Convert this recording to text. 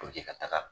ka taga